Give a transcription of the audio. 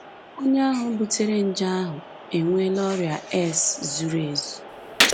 Onye ahụ butere nje ahụ enweela ọrịa AIDS zuru ezu